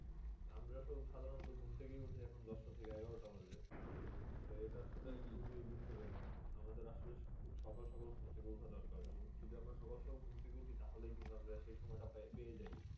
আমরা সব সাধারনত ঘুম থেকেই উঠি সকাল দশটা থেকে এগারোটা বাজে। তো এটা আসলে খুবই দুঃখ জনক আমাদের আসলে খুব সকাল সকাল ঘুম থেকে উঠা দরকার। আর যদি আমরা সকাল সকাল ঘুম থেকে উঠি? তাহলেই কিন্তু আমরা সেই সময়টা পে~ পেয়ে যাই।